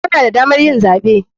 Kana da damar yin zaɓe.